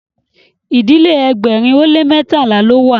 ìdílé ẹgbẹrin o le mẹtala ló wà